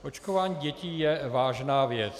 Očkování dětí je vážná věc.